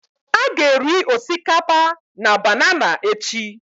A ga-eri osikapa na banana echi